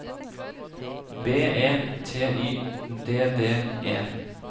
B E T Y D D E